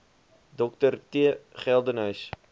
dr t geldenhuys